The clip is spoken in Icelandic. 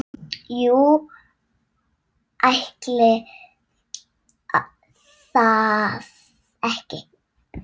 Jú, ætli það ekki.